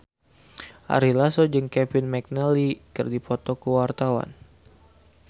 Ari Lasso jeung Kevin McNally keur dipoto ku wartawan